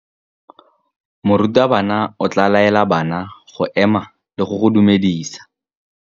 Morutabana o tla laela bana go ema le go go dumedisa.